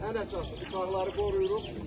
Ən əsası uşaqları qoruyuruq.